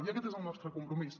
i aquest és el nostre compromís